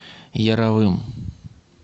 яровым